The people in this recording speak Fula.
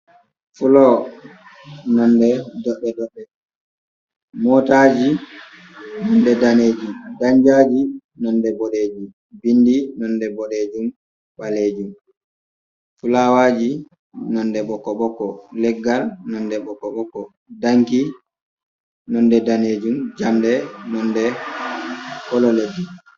Flo nda motaji daneji, nonde bodejum, bindi nonde bodejum balejum, fulawaji nonde boko boko, leggal nonde boko boko, danki nonde danejum jamɗe nonde holo leddi.